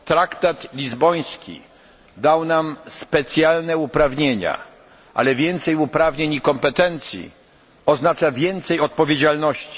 Traktat lizboński przyznał nam specjalne uprawnienia, ale więcej uprawnień oznacza więcej odpowiedzialności.